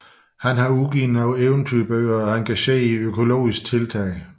Han har udgivet nogle eventyrbøger og er engageret i økologiske tiltag